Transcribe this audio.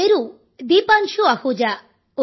నా పేరు దీపాన్శు అహూజా